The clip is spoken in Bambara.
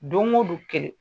Don ko don kɛlɛ